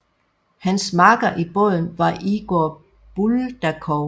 Hans makker i båden var Igor Buldakov